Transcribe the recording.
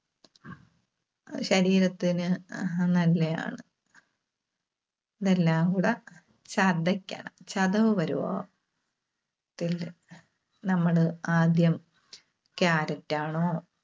ശരീരത്തിന് അഹ് നല്ലയാണ്. ഇതെല്ലാംകൂടെ ചതക്കണം ചതവ് പരുവം ആവാം. നമ്മള് ആദ്യം Carrot ആണോ?